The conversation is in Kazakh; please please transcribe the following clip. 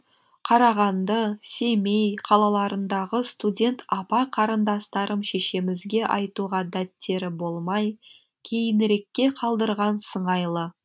қарағанды семей қалаларындағы студент апа қарындастарым шешемізге айтуға дәттері болмай кейінірекке қалдырған сыңайлы